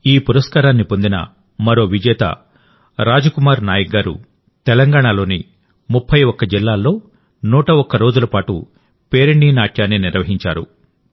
ఈ పురస్కారాన్ని పొందిన మరో విజేత రాజ్ కుమార్ నాయక్ గారు తెలంగాణలోని 31 జిల్లాల్లో 101 రోజుల పాటు పేరిణి ఒడిస్సీని నిర్వహించారు